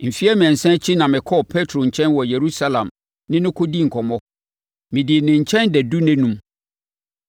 Mfeɛ mmiɛnsa akyi na mekɔɔ Petro nkyɛn wɔ Yerusalem ne no kɔdii nkɔmmɔ. Medii ne nkyɛn dadu nnanum.